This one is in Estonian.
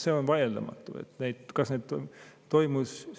See on vaieldamatu, et need toimusid.